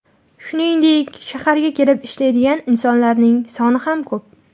Shuningdek, shaharga kelib ishlaydigan insonlarning soni ham ko‘p.